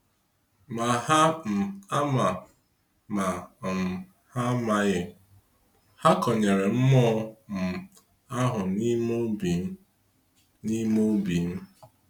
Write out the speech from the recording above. Ma ha um ama, ma um ha amaghị, ha kọnyere mmụọ um ahụ n'ime obim. n'ime obim.